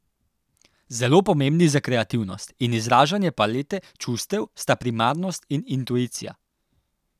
Zelo pomembni za kreativnost in izražanje palete čustev sta primarnost in intuicija.